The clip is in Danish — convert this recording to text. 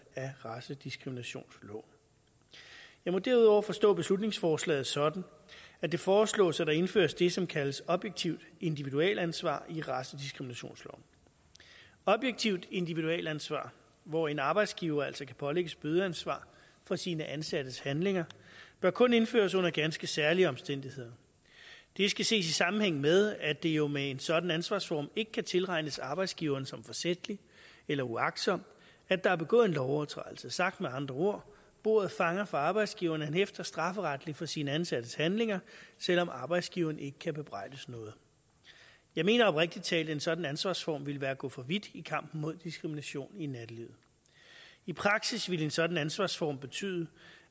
af racediskriminationsloven jeg må derudover forstå beslutningsforslaget sådan at det foreslås at der indføres det som kaldes objektivt individualansvar i racediskriminationsloven objektivt individualansvar hvor en arbejdsgiver altså kan pålægges bødeansvar for sine ansattes handlinger bør kun indføres under ganske særlige omstændigheder det skal ses i sammenhæng med at det jo med en sådan ansvarsform ikke kan tilregnes arbejdsgiveren som forsætligt eller uagtsomt at der er begået en lovovertrædelse sagt med andre ord bordet fanger for arbejdsgiveren han hæfter strafferetligt for sine ansattes handlinger selv om arbejdsgiveren ikke kan bebrejdes noget jeg mener oprigtig talt at en sådan ansvarsform vil være at gå for vidt i kampen mod diskrimination i nattelivet i praksis ville en sådan ansvarsform betyde